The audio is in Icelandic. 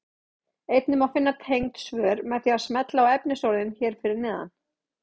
Einnig má finna tengd svör með því að smella á efnisorðin hér fyrir neðan.